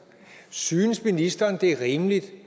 synes ministeren det er rimeligt